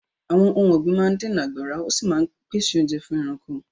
Àwọn ohun ọ̀gbìn máa ń dènà àgbàrá, ó sì máa ń pèsè oúnjẹ fún ẹranko.